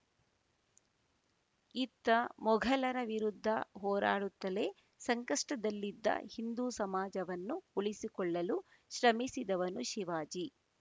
ಇತ್ತ ಮೋಘಲರ ವಿರುದ್ಧ ಹೋರಾಡುತ್ತಲೇ ಸಂಕಷ್ಟದಲ್ಲಿದ್ದ ಹಿಂದೂ ಸಮಾಜವನ್ನು ಉಳಿಸಿಕೊಳ್ಳಲು ಶ್ರಮಿಸಿದವನು ಶಿವಾಜಿ